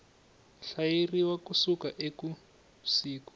hlayeriwa ku suka eka siku